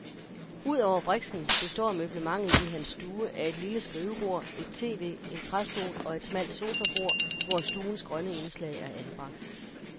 Udover briksen består møblementet i hans stue af et lille skrivebord, et tv, en træstol og et smalt sofabord, hvor stuens grønne indslag er anbragt.